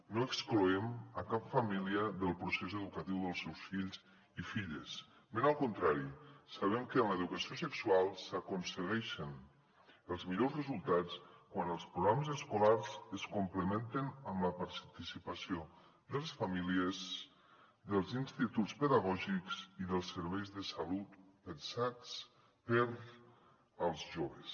no excloem cap família del procés educatiu dels seus fills i filles ben al contrari sabem que en l’educació sexual s’aconsegueixen els millors resultats quan els programes escolars es complementen amb la participació de les famílies dels instituts pedagògics i dels serveis de salut pensats per als joves